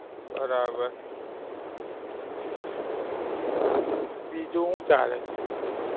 બરાબર. બીજું હું ચાલે?